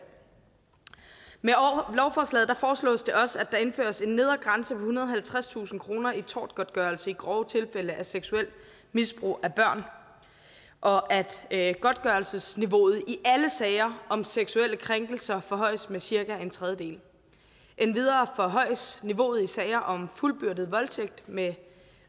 med lovforslaget foreslås det også at der indføres en nedre grænse ved ethundrede og halvtredstusind kroner i tortgodtgørelse i grove tilfælde af seksuelt misbrug af børn og at godtgørelsesniveauet i alle sager om seksuelle krænkelser forhøjes med cirka en tredjedel endvidere forhøjes niveauet i sager om fuldbyrdet voldtægt med